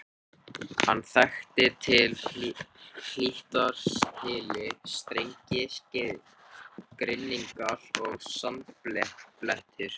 Hann þekkti til hlítar hyli, strengi, grynningar og sandbleytur.